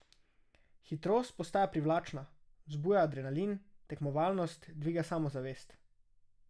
Hitrost postaja privlačna, vzbuja adrenalin, tekmovalnost, dviga samozavest.